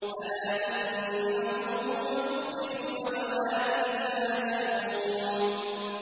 أَلَا إِنَّهُمْ هُمُ الْمُفْسِدُونَ وَلَٰكِن لَّا يَشْعُرُونَ